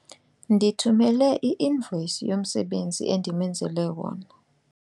Ndithumele i-invoyisi yomsebenzi endimenzele wona.